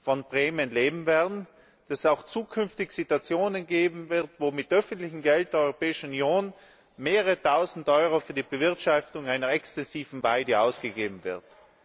von Prämien leben werden, dass es auch zukünftig Situationen geben wird, wo mit öffentlichen Geldern der Europäischen Union mehrere Tausend Euro für die Bewirtschaftung einer exzessiven Weide ausgegeben werden.